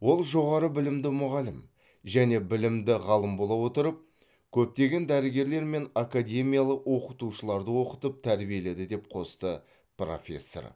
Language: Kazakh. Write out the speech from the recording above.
ол жоғары білімді мұғалім және білімді ғалым бола отырып көптеген дәрігерлер мен академиялық оқытушыларды оқытып тәрбиеледі деп қосты профессор